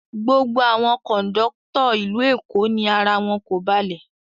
Gbogbo àwọn kọ̀ńdọ́tọ́ ìlú Eko ni ara wọn kò balẹ̀.